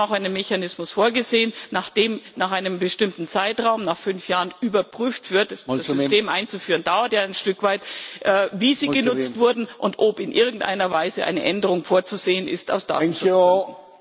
Wir haben auch einen Mechanismus vorgesehen, nach dem nach einem bestimmten Zeitraum nach fünf Jahren überprüft wird das System einzuführen dauert ja ein Stück weit wie sie genutzt wurden und ob in irgendeiner Weise eine Änderung vorzusehen ist aus Datenschutzgründen.